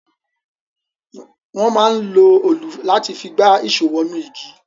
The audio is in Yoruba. Wọ́n máa ń lo olù láti fi gba ìṣó wọ inú igi